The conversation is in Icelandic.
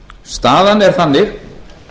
staðan er þannig